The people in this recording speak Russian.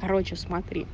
короче смотри